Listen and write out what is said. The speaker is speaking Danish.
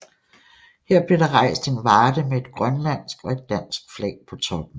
Her blev der rejst en varde med et grønlandsk og et dansk flag på toppen